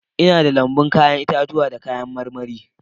Ina da lambun 'ya'yan itatuwa da kayan marmari